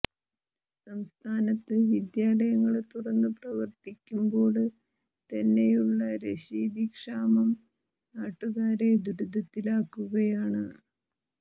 സംസ്ഥാനത്ത് വിദ്യാലയങ്ങള് തുറന്നു പ്രവര്ത്തിക്കുമ്പോള് തന്നെയുള്ള രശീതി ക്ഷാമം നാട്ടുകാരെ ദുരിതത്തിലാക്കുകയാണ്